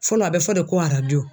Fɔlɔ a bɛ fɔ de ko arajo.